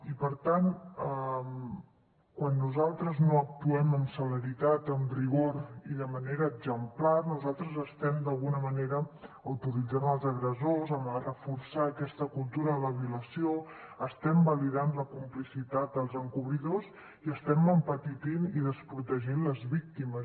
i per tant quan nosaltres no actuem amb celeritat amb rigor i de manera exemplar nosaltres estem d’alguna manera autoritzant els agressors a reforçar aquesta cultura de la violació estem validant la complicitat dels encobridors i estem empetitint i desprotegint les víctimes